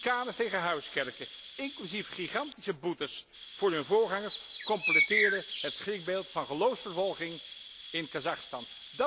Chicanes tegen huiskerken, inclusief gigantische boetes voor hun voorgangers completeren het schrikbeeld van geloofsvervolging in Kazachstan.